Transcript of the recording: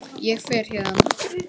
Ég fer héðan.